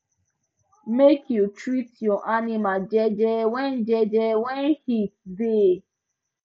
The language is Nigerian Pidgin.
make u treat your animals jeje when jeje when heat da